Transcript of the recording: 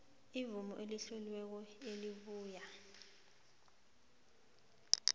imvumo etloliweko ebuya